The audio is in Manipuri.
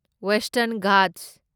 ꯋꯦꯁꯇꯔꯟ ꯘꯥꯠꯁ